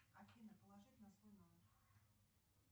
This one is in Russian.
афина положить на свой номер